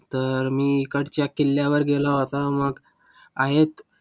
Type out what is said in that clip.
तर मी इकडच्या किल्ल्यावर गेलो होतो मग.